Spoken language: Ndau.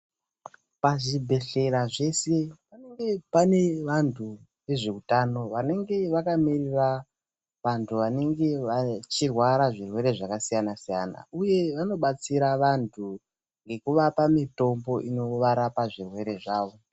Pazvibhehlera zvese pane vantu vezveutano vanenge vakamirira vantu vanenge vachirwara zvirwere zvakasiyana siyana uye vanobatsira vantu ngekuvapa mitombo inorapa zvirwere zvavo.